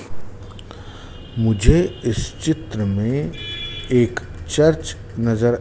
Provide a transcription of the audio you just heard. मुझे इस चित्र में एक चर्च नजर--